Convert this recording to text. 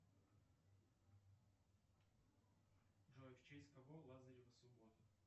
джой в честь кого лазарева суббота